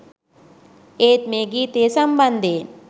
ඒත් මේ ගීතය සම්බන්ධයෙන්